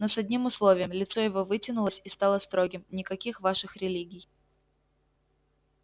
но с одним условием лицо его вытянулось и стало строгим никаких ваших религий